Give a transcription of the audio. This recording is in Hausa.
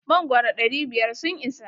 Mangoro ɗari biyar sun isa?